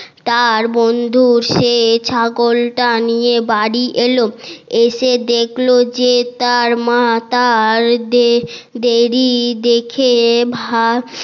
তার বন্ধু সেই ছাগলটা নিয়ে বাড়ি এলো এসে দেখলো যে তার মা তার দেরি দেখে ভা